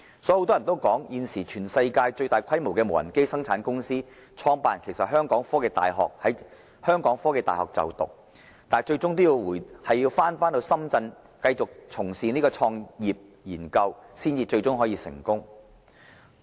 很多人曾說，現時全世界最大規模的無人機生產公司的創辦人其實曾在香港科技大學就讀，但他最終要回流深圳繼續從事創業研究，才可取得成功。